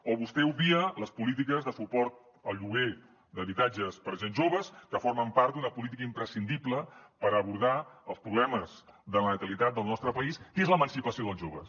o vostè obvia les polítiques de suport al lloguer d’habitatges per a gent jove que formen part d’una política imprescindible per abordar els problemes de la natalitat del nostre país què és l’emancipació dels joves